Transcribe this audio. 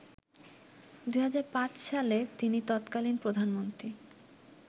২০০৫ সালে তিনি তৎকালীন প্রধানমন্ত্রী